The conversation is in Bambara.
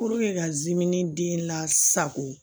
ka diminden lasako